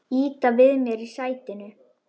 Ýta við mér í sætinu.